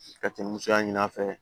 Ka cɛn musoya ɲini a fɛ